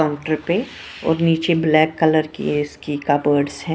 Counter पे और नीचे ब्लैक कलर की इसकी कबर्डस है।